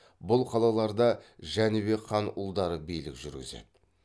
бұл қалаларда жәнібек хан ұлдары билік жүргізеді